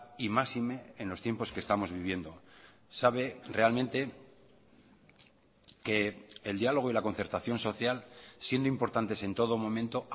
y máxime en los tiempos que estamos viviendo sabe realmente que el diálogo y la concertación social siendo importantes en todo momento